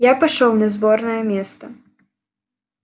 я пошёл на сборное место